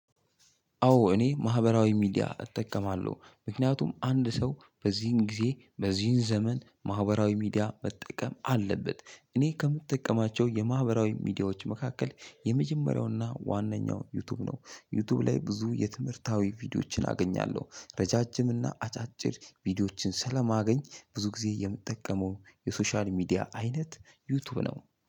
አዎ እኔ ማህበራዊ ሚዲያ እጠቀማለሁ ምክንያቱም አንድ ሰው በዚህን ጊዜ በዚህን ዘመን ማህበራዊ ሚዲያ መጠቀም አለበት እኔ ከምጠቀማቸው የማህበራዊ ሚዲያዎች መካከል የመጀመሪያውና ዋነኛው ዩቲዩብ ነው። ዩቲዩብ ላይ ብዙ የትምህርታዊ ቪዲዮዎችን አገኛለሁ። ረጃጅም እና አጫጭር ቪዲዮዎችን ስለማገኝ ብዙ ጊዜ የምጠቀመው የሶሻል ሚዲያ አይነት ዩቲዩብ ነው።